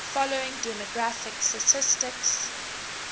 following demographic statistics